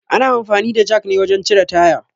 Ana amfani da jak ne wajen cire taya